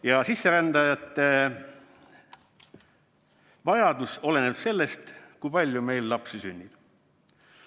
Vajadus sisserändajate järele oleneb sellest, kui palju meil lapsi sünnib.